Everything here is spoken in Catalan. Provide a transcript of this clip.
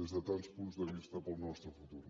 des de tants punts de vista per al nostre futur